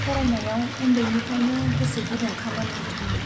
फरायनायाव उन्दैनिफ्राइनो गोसो गुदुंखामोन बिथाङा।